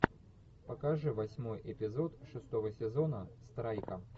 покажи восьмой эпизод шестого сезона страйка